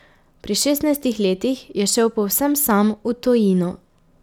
Pri šestnajstih letih je šel povsem sam v tujino.